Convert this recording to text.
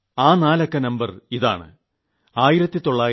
ആ നാല് അക്ക നമ്പർ ഇതാണ